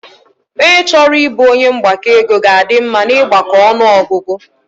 Ọnye chọrọ ịbụ onye mgbakọ ego ga a dị mma na ịgbako ọnụọgụgụ